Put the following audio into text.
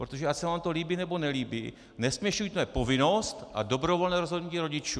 Protože ať se vám to líbí nebo nelíbí, nesměšujme povinnost a dobrovolné rozhodnutí rodičů.